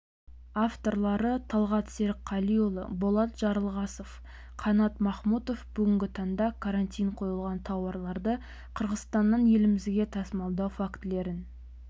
авторлары талғат серікқалиұлы болат жарылғасов қанат махмұтов бүгінгі таңда карантин қойылған тауарларды қырғызстаннан елімізге тасымалдау фактілерін